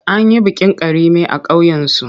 An yi bikin Karime a ƙauyensu.